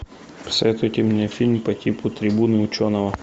посоветуйте мне фильм по типу трибуна ученого